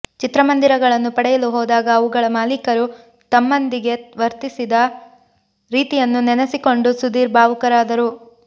ಚಿತ್ರಮಂದಿರಗಳನ್ನು ಪಡೆಯಲು ಹೋದಾಗ ಅವುಗಳ ಮಾಲೀಕರು ತಮ್ಮಂದಿಗೆ ವರ್ತಿಸಿದ ರೀತಿಯನ್ನು ನೆನೆಸಿಕೊಂಡು ಸುಧೀರ್ ಭಾವುಕರಾದರು